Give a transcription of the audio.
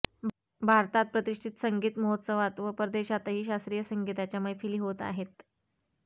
भारतात प्रतिष्ठित संगीत महोत्सवात व परदेशातही शास्त्रीय संगीताच्या मैफिली होत आहेत